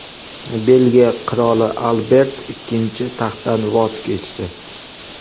Belgiya qiroli Albert Ikkinchi taxtdan voz kechdi.